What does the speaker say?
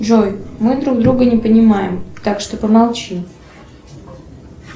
джой мы друг друга не понимаем так что помолчи